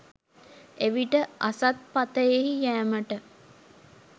එවිට අසත් පථයෙහි යෑමට